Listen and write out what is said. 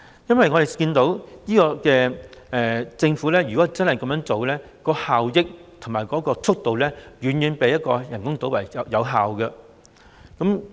我們看到政府如真的這樣做，無論是效益和建屋速度都遠較人工島計劃為佳。